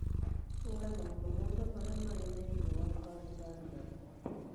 Hũra maũndũ mothe marĩa marĩ thĩinĩ wa kalendarĩ yakwa